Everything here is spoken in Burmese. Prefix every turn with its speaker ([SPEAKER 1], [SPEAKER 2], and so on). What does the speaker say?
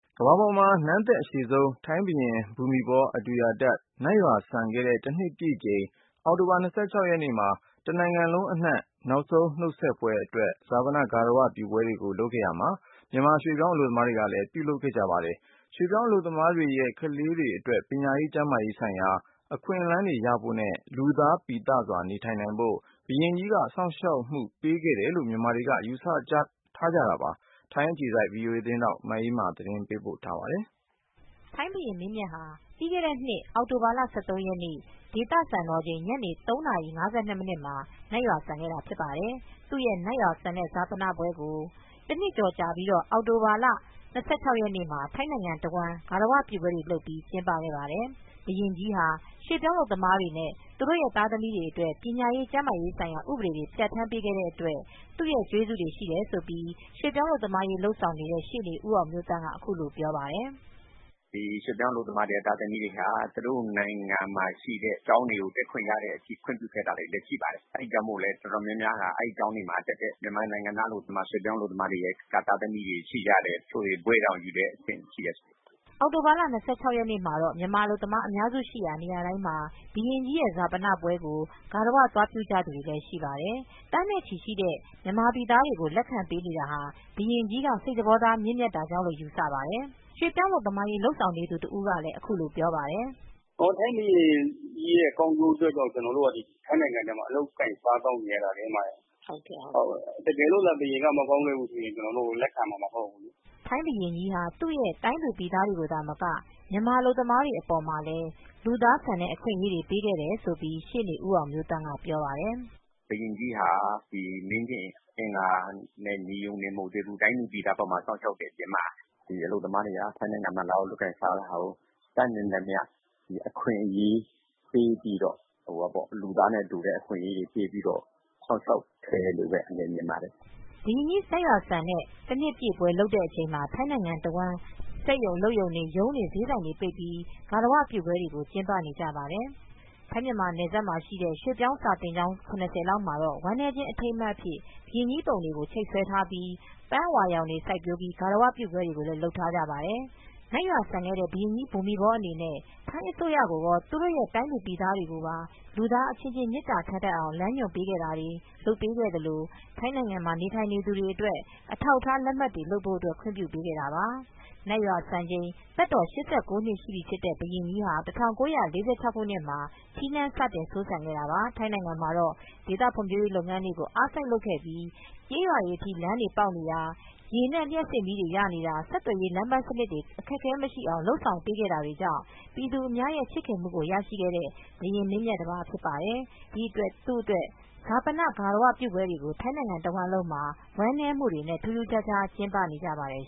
[SPEAKER 1] ကမ္ဘာပေါ်မှာ နန်းသက်အရှည်ဆုံး ထိုင်းဘုရင် ဘူမိဘော အဒူယာဒက် နတ်ရွာစံခဲ့တဲ့ တနှစ်ပြည့်တဲ့အချိန်အောက်တိုဘာလ ၂၆နေ့မှာ တနိုင်ငံလုံးအနှံ့ ဈာပနအတွက်ဂါရဝပြုပွဲတွေကို လုပ်ခဲ့ရာမှာ မြန်မာရွှေ့ပြောင်းအလုပ်သမားတွေကလည်းလုပ်ဆောင်ခဲ့ပါတယ်။ ရွှေ့ပြောင်းအလုပ်သမားတွေရဲ့ ကလေးတွေအတွက် ပညာရေးကျန်းမာရေးဆိုင်ရာအခွင့်အလန်းတွေရဖို့တွေနဲ့ လူသားပြီသစွာနေထိုင်နိုင်ဖို့အတွက် ဘုရင်ကြီးက စောင့်ရှောက်မူပေးခဲ့တယ်လို့မြန်မာတွေ ယူဆကြတာပါ။ မအေးအေးမာကသတင်းပေးပို့ထားပါတယ်
[SPEAKER 2] ။ ထိုင်းဘုရင်မင်းမြတ်ဟာ ပြီးခဲတဲ့နှစ် အောက်တိုဘာလ ၁၃ရက်နေ့ဒေသစံတော်ချိန် ညနေ ၃နာရီ ၅၂မှာ နတ်ရွာစံသွားခဲ့တာ ဖြစ်ပါတယ်။ သူရဲ့ နတ်ရွာစံတဲ့ ဈာပနပွဲကိုတနှစ်ကြာ အောက်တိုဘာလ ၂၆ရက်ေနေမှာ ထိုင်းနိုင်ငံတဝှမ်း ဂါရဝပြုပွဲတွေလုပ်ပြီး ကျင်းပခဲ့ပါတယ်။ ဘုရင်ကြီးဟာ ရွှေ့ပြောင်းအလုပ်သမားတွေသူတို့သားသမီးတွေအတွက် ပညာရေး ကျန်းမာရေးဆိုင်ရာ ဥပဒေတွေပြန်ဌာန်းပေးခဲ့တဲ့အတွက် သူ့ကျေးဇူးတွေရှိတယ်လို့ ရွေပြောင်းအလုပ်သမားရေးလုပ်ဆောင်နေတဲ့ ရှေနေဦးအောင်မျိုးသန့်က အခုလိုပြောပြပါတယ်။ "
[SPEAKER 3] ရွှေ့ပြောင်းအလုပ်သမား သားသမီးတွေဟာ သူတို့နိုင်ငံမှာရှိတဲ့ကျောင်းတွေကို တက်ခွင့်ရတဲ့အထိ ခွင့်ပြုခဲ့တာတွေလည်းရှိပါတယ်။ အဲဒီကြောင့်မို့လဲအတော်များများက အဲဒီကျောင်းတွေမှာတက်တဲ့မြန်မာနိုင်ငံသားရွှေ့ပြောင်းအလုပ်သမားအတော်များများရဲ့သားသမီးတွေရှိကြတယ်။ တချို့ဆိုရင် ဘွဲတွေ ဘာတွေရတဲ့အထိ ကျောင်းပြီးသွားတဲ့သူတွေတေ
[SPEAKER 2] ာင်ရှိတယ်။" အောင်တိုဘာလ ၂၆ရက်နေမှာတော့ မြန်မာအလုပ်သမားတွေ အများစုရှိတဲ့နေရာတိုင်းမှာ ဘုရင်ကြီးဈာပနပွဲကိုဂါရဝပြုသွားကြတာတွေလည်းရှိပါတယ်။ ထိုင်းနိုင်ငံရောက်ရှိနေတဲ့ သူတဦးကတော့ သန်းနဲ့ ချီရှိတဲ့ကမြန်မာပြည်သားတွေကိုလက်ခံပေးနေတာဟာ ဘုရင်ကြီးက စိတ်သဘောထားမြင့်မြတ်တာကြောင့်လို့ယူဆကြပါတယ်။ "ထိုင်းဘုရင်ကြီး
[SPEAKER 3] ကောင်းလို့သာ ကျနော်တို့ ထိုင်းမှာအလုပ်လုပ်ရတာလေ။ တကယ်လို့ ဘုရင်ကသာ မကောင်းခဲ့ဘူးဆိုရင် ကျနော်တို့ကိုလက်ခံမှာမဟုတ်ဘူးလေ
[SPEAKER 2] " ထိုင်းဘုရင်ကြီးဟာ သူတိုင်းပြည်သူပြည်သားတွေကိုသာမက မြန်မာအလုပ်သမားတွေအပေါ်မှာလည်း လူသားဆန်တဲ့အခွင့်အရေးတွေပေးခဲ့တယ်လို့ ရှေနေဦးအောင်မျိုးသန့်ကဆက်ပြောပြပါတယ်
[SPEAKER 3] "ဘုရင်ကြီးဟာ မင်းကျင့်အင်္ဂါ နဲ့ ညီရုံသာမက သူ့တိုင်းသူပြည်သားတွေကိုလည်းစောင့်ရှာက်ရုံသာမက နိုင်ငံရပ်ခြားကပြည်သူတွေအလုပ်သမားတွေဟာ ထိုင်းနိုင်ငံမှာလုပ်ကိုင်စားသောက်နေတဲ့အချိန်မှာ တတ်နိုင်သမျှလူသားတွေ ရသင့်တဲ့အရေးတွေပေးပြီး စောင့်ရှောက်မူတွေပေးခဲ့တယ်လို့ ပြောရပါ
[SPEAKER 2] မယ်။" ဘုရင်မင်းမြတ်ကြီးနတ်ရွာစံတဲ့ တနှစ်ပြည့်ဈာပန ပွဲလုပ်နေချိန်မှာ ထိုင်းနိုင်ငံတဝှမ်းက တချို့စက်ရုံအလုပ်ရုံတွေ ရုံးတွေဈေးဆိုင်တွေပိတ်ပြိး ဂါရဝပြုပွဲတွေကို ကျင်းပနေကြပါတယ်။ ထိုင်းမြန်မာနယ်စပ်မှာရှိတဲ့ ရွှေ့ပြောင်းစာသင်ကျောင်း ရသလောက်မှာတော့ ဝမ်းနည်းခြင်းအထိမ်းအမှတ်အဖြစ် ဘုရင်ကြီးပုံတွေကိုချိတ်ဆွဲထားပြီး ပန်းအဝါရောင်တွေ စိုက်ပျိုးပြီး ဂါရဝပြုပူဇော်မူတွေလည်း လုပ်ထားကြပါတယ်။ နတ်ရွာစံခဲ့တဲ့ ဘုရင်းကြီးဘူမိဘောအနေနဲ့ ထိုင်းအစိုးရကိုကော သူတို့တိုင်းသူပြည်သားကိုပါ လူသားအချင်းချင်းမေတ္တာတွေထားအောင် လမ်းညွန်ပေးခဲ့တာတွေ လုပ်ပေးခဲ့သလို ထိုင်းနိုင်ငံမှာနေထိုင်သူတွေအတွက် အထောက်အထားလက်မှတ်လုပ်ပေးဖို့ ခွင်ပြုပေးခဲ့တာပါ။ နတ်ရွာစံချိန်သက်တော် ၈၉ နှစ်ရှိခဲ့ပြီဖြစ်တဲ့ ဘုရင်ကြီးဟာ ၁၉၄၆ ခုနှစ်မှာ ထီးနန်း စတင် စိုးစံခဲ့တာပါ။ ထိုင်းနိုင်ငံမှာတော့ ဒေသဖွံဖြိုးရေးလုပ်ငန်းတွေကိုအားစိုက်လုပ်ခဲ့ပြီး ကျေးရွာတွေအထိ လမ်းတွေပေါက်နေတာ ရေနဲ့ လျပ်စစ်မီးတွေ၊ ဆက်သွယ်ရေး လမ်းပန်းစနစ်တွေ အခက်အခဲမရှိအောင် လုပ်ဆောင်ပေးခဲ့တာတွေကြောင့် ပြည်သူအများရဲချစ်ခင်မူကိုရရှိခဲ့တဲ့ဘုရင်းမင်းမြတ်တပါးဖြစ်ပါတယ်။ ဒီအတွက် ဈာပါန ဂါရဝပြုပွဲတွေကို ထိုင်းနိုင်ငံတဝှမ်းလုံးမှာ ဝမ်းနည်းမူတွေနဲ့ ထူးထူးခြားခြားကျင်းပကြပါတယ်